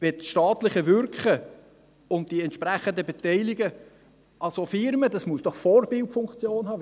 Das staatliche Wirken und die entsprechenden Beteiligungen an solchen Firmen, müssen doch Vorbildfunktion haben.